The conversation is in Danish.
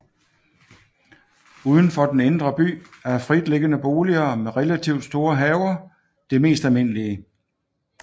Uden for den indre by er fritliggende boliger med relativt store haver det mest almindelige